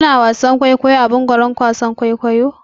Ku na wasan kwaikwayo ne a mumbarin gidan wasan kwaikwayo?